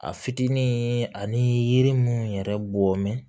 A fitinin ani yiri munnu yɛrɛ bɔmin